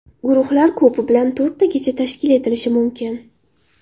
Guruhlar ko‘pi bilan to‘rttagacha tashkil etilishi mumkin.